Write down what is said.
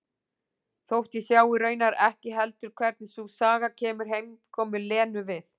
Þótt ég sjái raunar ekki heldur hvernig sú saga kemur heimkomu Lenu við.